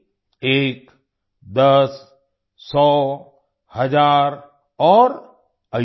एक दस सौ हज़ार और अयुत